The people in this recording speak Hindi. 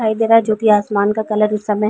दिखाई दे रहा है जो की आसमान का कलर इस समय --